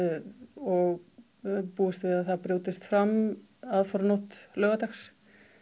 og við búumst við því að það brjótist fram aðfaranótt laugardags